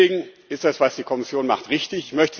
Deswegen ist das, was die Kommission macht, richtig.